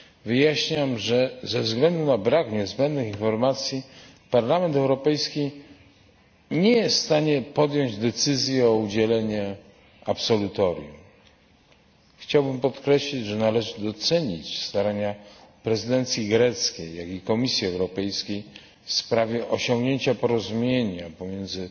Wyjaśniam, że ze względu na brak niezbędnych informacji, Parlament Europejski nie jest w stanie podjąć decyzji o udzieleniu absolutorium. Chciałbym podkreślić, że należy docenić starania prezydencji greckiej, jak i Komisji Europejskiej w sprawie osiągnięcia porozumienia pomiędzy